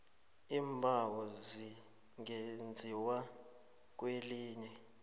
iimbawo zingenziwa kwelinye